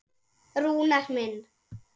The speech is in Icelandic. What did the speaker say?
Rúnar minn.